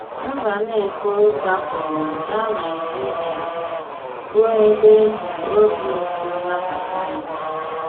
Mbànéfò gbàpụrụ̀ gaa Nàịjìrìà, bụ́ ebe e jì òbì ùtù nàbàtà ya.